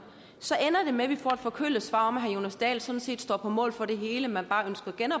så ender det med at vi får et forkølet svar om at herre jonas dahl sådan set står på mål for det hele men bare